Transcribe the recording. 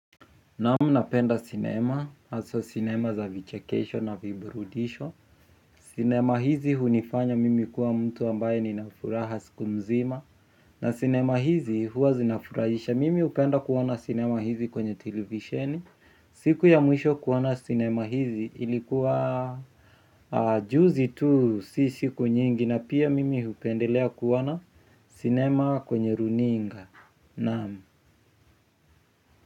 Naam napenda cinema, hasaa cinema za vichekesho na viburudisho. Cinema hizi hunifanya mimi kuwa mtu ambaye ninafuraha siku mzima. Na cinema hizi huwa zinafurahisha, mimi hupenda kuona cinema hizi kwenye televisheni. Siku ya mwisho kuona cinema hizi ilikuwa juzi tu si siku nyingi na pia mimi hupendelea kuona cinema kwenye runinga, naam.